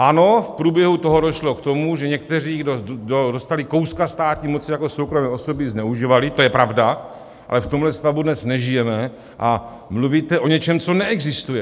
Ano, v průběhu toho došlo k tomu, že někteří, kdo dostali kouska státní moci, jako soukromé osoby zneužívali, to je pravda, ale v tomhle stavu dnes nežijeme a mluvíte o něčem, co neexistuje.